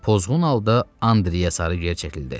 Pozğun halda Andreyə sarı gerçəkildi.